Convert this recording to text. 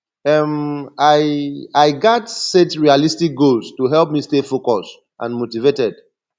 um i i gats set realistic goals to help me stay focused and motivated